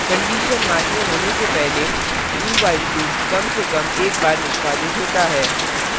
condition मान्य होने से पहले do while loop कम से कम एक बार निष्पादित होता है